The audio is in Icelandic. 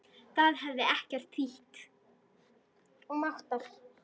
Það hefði ekkert þýtt.